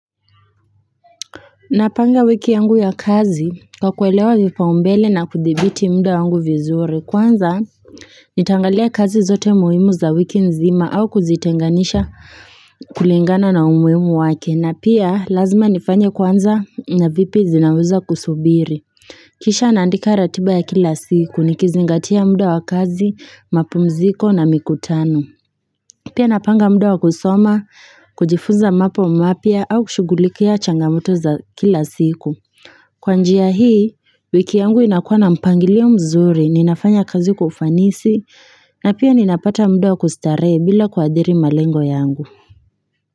Napanga wiki yangu ya kazi, kwa kuelewa vipaumbele na kudhibiti muda wangu vizuri, kwanza nitangalia kazi zote muhimu za wiki nzima, au kuzitenganisha kulingana na umuhimu wake, na pia, lazima nifanye kwanza na vipi zinaweza kusubiri. Kisha naandika ratiba ya kila siku, nikizingatia muda wa kazi, mapumziko na mikutano. Pia napanga muda wa kusoma, kujifuza mambo mapya au kushughulikia changamoto za kila siku. Kwa njia hii, wiki yangu inakuwa na mpangilio mzuri, ninafanya kazi kwa ufanisi, na pia ninapata muda wa kustarehe bila kuadhiri malengo yangu.